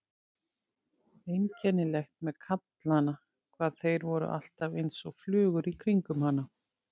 Einkennilegt með kallana hvað þeir voru alltaf einsog flugur í kringum hana.